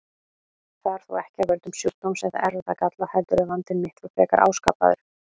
Það er þó ekki af völdum sjúkdóms eða erfðagalla heldur er vandinn miklu frekar áskapaður.